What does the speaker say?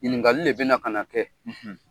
Ɲininkakali de bɛna ka na kɛ, .